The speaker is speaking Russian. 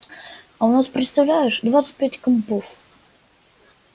а у нас представляешь двадцать пять компов